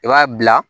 I b'a bila